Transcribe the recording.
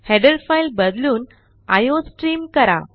header file बदलून iostream करा